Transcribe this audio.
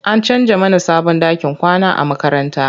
An canja mana sabon ɗakin kwana na makaranta.